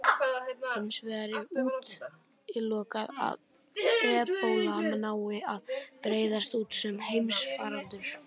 Hins vegar er útilokað að ebóla nái að breiðast út sem heimsfaraldur.